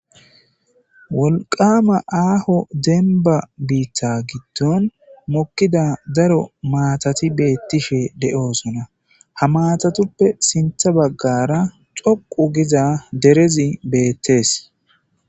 wolqama aaho demba biitha gitton mokkida daro maatati beettishe de7oosona ha matatuppe sintha baggara coqu giza derezi beettees